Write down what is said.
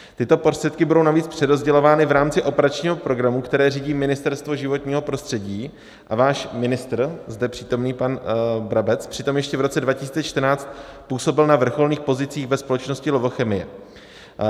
Tyto prostředky budou navíc přerozdělovány v rámci operačního programu, který řídí Ministerstvo životního prostředí, a váš ministr, zde přítomný pan Brabec, přitom ještě v roce 2014 působil na vrcholných pozicích ve společnosti Lovochemie.